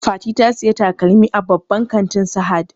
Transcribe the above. Fati ta saya takalmi a babban kantin sahad